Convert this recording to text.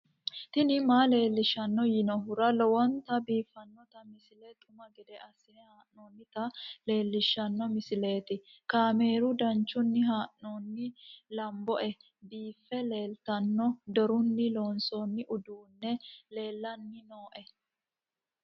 tini maa leelishshanno yaannohura lowonta biiffanota misile xuma gede assine haa'noonnita leellishshanno misileeti kaameru danchunni haa'noonni lamboe biiffe leeeltanno dorunni loonsoonni uduunni lellanni nooe